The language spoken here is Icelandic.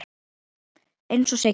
Eins og Siggi.